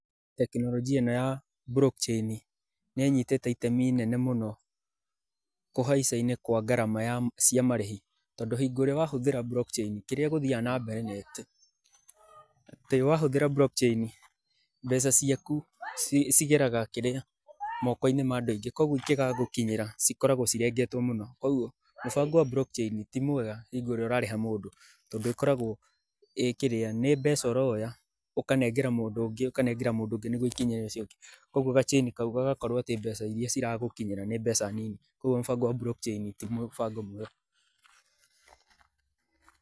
Tekinoronjĩa ĩno ya Block chain, nĩ ĩnyitĩte itemi inene mũno kũhaica-inĩ kwa ngarama cia marĩhi, tondũ hingo ĩrĩa wahũthĩra Block chain, kĩrĩa gũthiaga nambere nĩ atĩ wahũthĩra Block chain, mbeca ciaku cigeraga kĩrĩa, moko-inĩ ma andũ aingĩ koguo ingĩgagũkinyĩra, cikoragwo cirengetwo mũno. Koguo mũbango wa Block chain ti mwega hingo ĩrĩa ũrarĩha mũndũ tondũ ĩkoragwo ĩ kĩrĩa, nĩ mbeca ũroya ũkanengera mũndũ ũngĩ, ũkanengera mũndũ ũngĩ nĩguo ikinyĩre ũcio ũngĩ. Koguo ga chain kau gagakorwo atĩ mbeca iria ciragũkinyĩra nĩ mbeca nini. Koguo mũbango wa Block chain ti mũbango mwega.